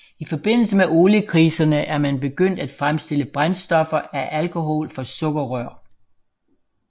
I forbindelse med oliekriserne er man begyndt at fremstille brændstoffer af alkohol fra sukkerrør